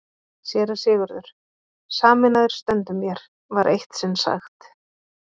SÉRA SIGURÐUR: Sameinaðir stöndum vér, var eitt sinn sagt.